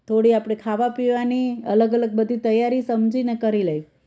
થોડી આપણી ખાવા પીવાની અલગ અલગ બધી તૈયારી સમજીને કરી લઈ